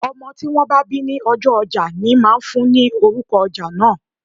Ọmọ tí wón bá bí ní ọjọ́ ojá ní máà ń fún ni orúko ojá náà.